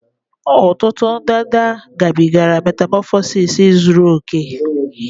Ọtụtụ ndanda gabigara metamọfọsis zuru oke